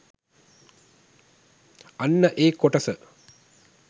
අන්න ඒ කොටස